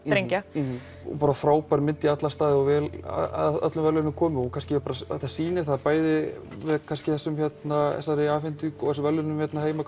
drengja bara frábær mynd í alla staði og vel að öllum verðlaunum komin þetta sýnir það bæði með þessum verðlaunum hérna heima